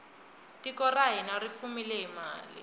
tiko ra hina ri fumile hi mali